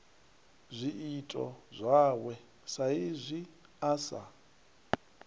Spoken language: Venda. zwiito zwawe saizwi a sa